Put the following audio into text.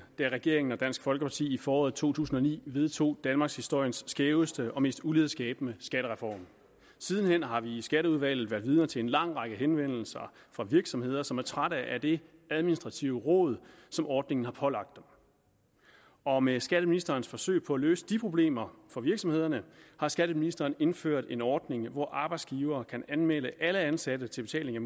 da regeringen og dansk folkeparti i foråret to tusind og ni vedtog danmarkshistoriens skæveste og mest ulighedsskabende skattereform sidenhen har vi i skatteudvalget været vidner til en lang række henvendelser fra virksomheder som er trætte af det administrative rod som ordningen har pålagt dem og med skatteministerens forsøg på at løse de problemer for virksomhederne har skatteministeren indført en ordning hvor arbejdsgivere kan anmelde alle ansatte til betaling af